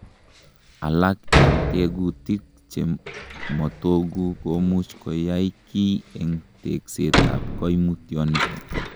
Alak en tegutik chemotogu komuch koyai kiy en teksetab koimutioniton.